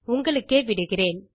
உங்களுக்கே விடுகிறேன்